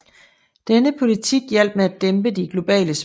Denne politik hjalp med at dæmpe de globale spændinger